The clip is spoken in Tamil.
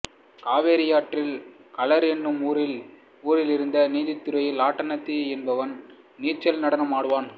காவிரியாற்றில் கழார் என்னும் ஊரிலிருந்த நீர்த்துறையில் ஆட்டனத்தி என்பவன் நீச்சல் நடனம் ஆடினான்